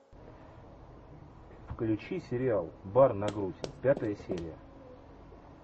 включи сериал бар на грудь пятая серия